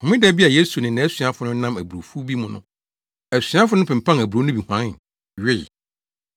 Homeda bi a Yesu ne nʼasuafo no nam aburowfuw bi mu no asuafo no pempan aburow no bi huan, wee.